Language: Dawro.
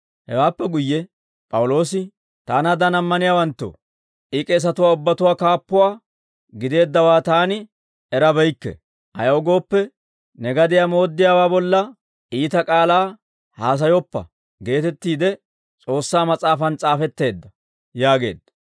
Hewaappe guyye P'awuloosi, «Taanaadan ammaniyaawanttoo, I k'eesatuwaa ubbatuwaa kaappuwaa gideeddawaa taani erabeykke; ayaw gooppe, ‹Ne gadiyaa mooddiyaawaa bolla iita k'aalaa haasayoppa› geetettiide S'oossaa Mas'aafan s'aafetteedda» yaageedda.